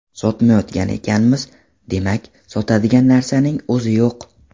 Sotmayotgan ekanmiz, demak, sotadigan narsaning o‘zi yo‘q”.